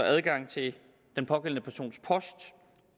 adgang til den pågældende persons post